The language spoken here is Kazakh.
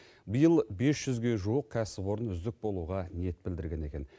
биыл бес жүзге жуық кәсіпорын үздік болуға ниет білдірген екен